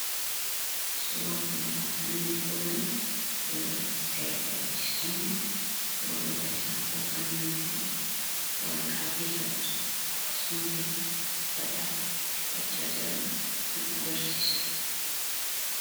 Suuraa kanarraa kan nuti hubannu, yeroo seera kabachiistonni warra isaan ajajanirraa qajeelfama akkasumas fedha isaanii itti fudhachaa jiran kan agarsiisudha.